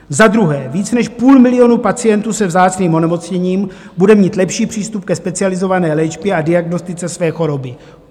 Za druhé, víc než půl milionu pacientů se vzácným onemocněním bude mít lepší přístup ke specializované léčbě a diagnostice své choroby.